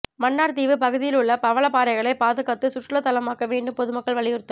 மன்னார் தீவு பகுதியிலுள்ள பவளபாறைகளை பாதுகாத்து சுற்றுலாதலமாக்க வேண்டும் பொதுமக்கள் வலியுறுத்தல்